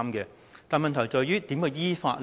然而，問題在於，如何依法呢？